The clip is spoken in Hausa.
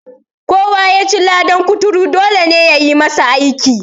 Kowa ya ci ladan kuturu, dole ne ya yi masa aski.